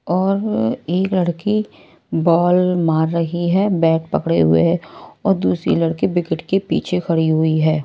और एक लड़की बॉल मार रही है बैट पकड़े हुए है और दूसरी लड़की विकेट के पीछे खड़ी हुई है।